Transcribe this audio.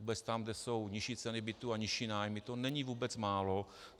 Vůbec tam, kde jsou nižší ceny bytů a nižší nájmy, to není vůbec málo.